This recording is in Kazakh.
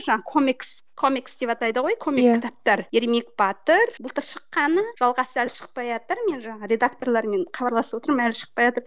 жаңа комикс комикс деп атайды ғой комик кітаптар ермек батыр былтыр шыққаны жалғасы әлі шықпайатыр мен жаңа редакторлармен хабарласып отырмын әлі шықпайатыр